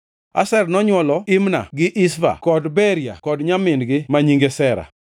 Asher nonywolo Imna gi Ishva gi Ishvi kod Beria kod nyamin-gi ma nyinge Sera.